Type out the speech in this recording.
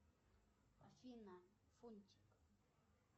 афина фунтик